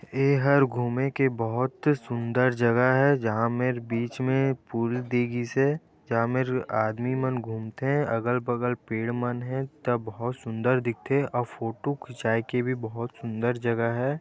एहर् घूमे के बहोत सुंदर जगह है जहाँ मेर बीच मे पुल दि गीस हे जहाँ मेर आदमी मन गुमथे अगल-बगल पेड़ मन हे त बहोत सुंदर दिखथे अउ फोटो खिचाई के भी बहोत सुंदर जगह है।